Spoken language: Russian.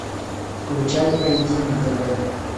включай ай ди на тв